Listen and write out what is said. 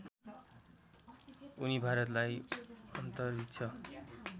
उनी भारतलाई अन्तरिक्ष